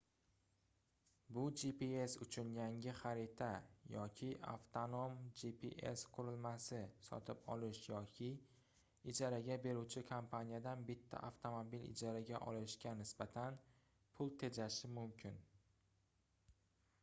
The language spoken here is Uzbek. bu gps uchun yangi xarita yoki avtonom gps qurilmasi sotib olish yoki ijaraga beruvchi kompaniyadan bitta avtomobil ijaraga olishga nisbatan pul tejashi mumkin